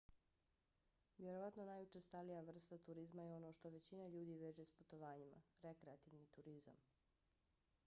vjerovatno najučestalija vrsta turizma je ono što većina ljudi veže s putovanjima - rekreativni turizam